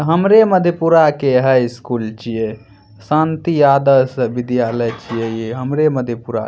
हमरे मधेपुरा के high school छिये शांति आदर्श विद्यालय छिये ई हमरे मधेपुरा --